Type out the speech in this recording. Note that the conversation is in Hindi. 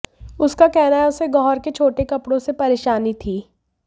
उसका कहना है उसे गौहर के छोटे कपड़ों से परेशानी थी